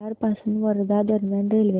भुयार पासून वर्धा दरम्यान रेल्वे